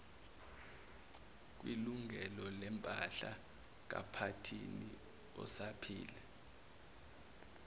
kwilungelolempahla kaphathini osaphila